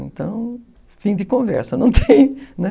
Então, fim de conversa.